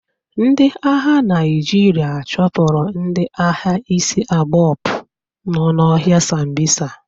Ndị agha Naịjirịa chụpụrụ ndị agha isiabokpu nọ n'ọhịa sambisa.